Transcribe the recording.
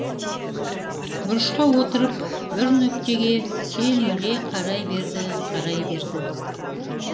бұрышқа отырып бір нүктеге телміре қарай берді қарай берді